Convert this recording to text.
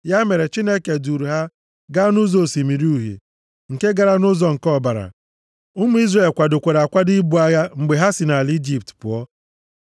Ya mere, Chineke duuru ha ga nʼụzọ Osimiri Uhie, nke gara nʼụzọ nke ọzara. Ụmụ Izrel kwadokwara akwado ibu agha mgbe ha si nʼala Ijipt pụọ.